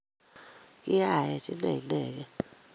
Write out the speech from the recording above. Kiyaech Ine Inegei.